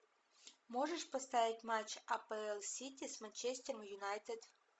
можешь поставить матч апл сити с манчестер юнайтед